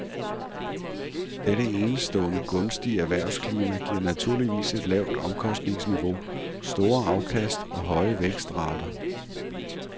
Dette enestående gunstige erhvervsklima giver naturligvis et lavt omkostningsniveau, store afkast og høje vækstrater.